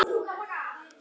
Eiga þau fimm syni.